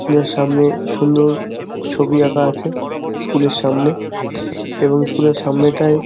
যার সামনে সুন্দর ছবি আঁকা আছে স্কুল -এর সামনে |এবং স্কুল -এর সামনেটায় --